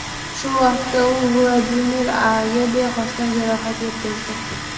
Shu vaqtda u Vladimir A.ga bexosdan jarohat yetkazgan.